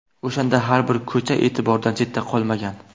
O‘shanda har bir ko‘cha e’tibordan chetda qolmagan.